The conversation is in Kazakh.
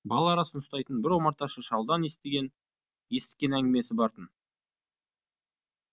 бал арасын ұстайтын бір омарташы шалдан есіткен әңгімесі бар тын